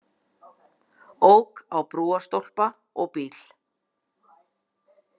Ók á brúarstólpa og bíl